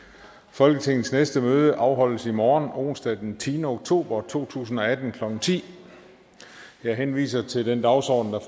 folketingets næste møde afholdes i morgen onsdag den tiende oktober to tusind og atten klokken ti jeg henviser til den dagsorden